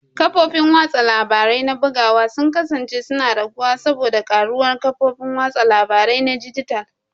Kafofin watsa labarai na bugawa sun kasance suna raguwa saboda karuwar kafofin watsa labaru na dijital.